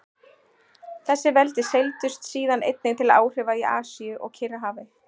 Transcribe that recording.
Þessi veldi seildust síðan einnig til áhrifa í Asíu og Kyrrahafi.